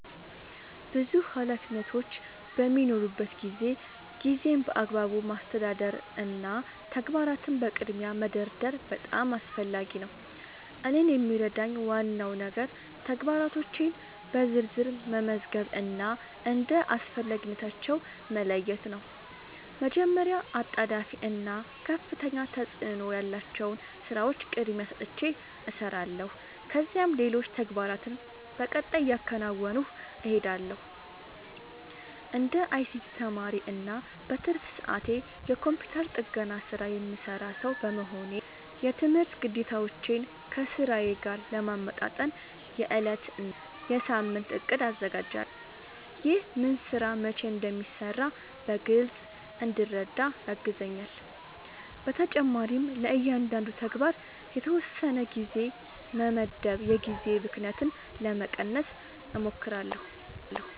ብዙ ኃላፊነቶች በሚኖሩበት ጊዜ ጊዜን በአግባቡ ማስተዳደር እና ተግባራትን በቅድሚያ መደርደር በጣም አስፈላጊ ነው። እኔን የሚረዳኝ ዋናው ነገር ተግባራቶቼን በዝርዝር መመዝገብ እና እንደ አስፈላጊነታቸው መለየት ነው። መጀመሪያ አጣዳፊ እና ከፍተኛ ተፅእኖ ያላቸውን ሥራዎች ቅድሚያ ሰጥቼ እሰራለሁ፣ ከዚያም ሌሎች ተግባራትን በቀጣይ እያከናወንሁ እሄዳለሁ። እንደ አይሲቲ ተማሪ እና በትርፍ ሰዓቴ የኮምፒውተር ጥገና ሥራ የምሠራ ሰው በመሆኔ፣ የትምህርት ግዴታዎቼን ከሥራዬ ጋር ለማመጣጠን የዕለት እና የሳምንት እቅድ አዘጋጃለሁ። ይህ ምን ሥራ መቼ እንደሚሠራ በግልጽ እንድረዳ ያግዘኛል። በተጨማሪም ለእያንዳንዱ ተግባር የተወሰነ ጊዜ በመመደብ የጊዜ ብክነትን ለመቀነስ እሞክራለሁ።